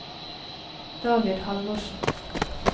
David Halvorsen